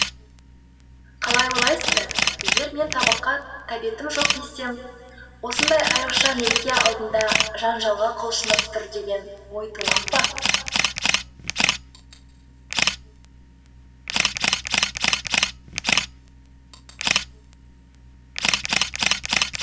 қалай ойлайсыздар егер мен тамаққа тәбетім жоқ десем осындай айрықша мереке алдында жанжалға құлшынып тұр деген ой тумақ па